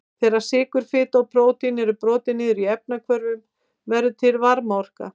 Þegar sykur, fita og prótín eru brotin niður í efnahvörfum verður til varmaorka.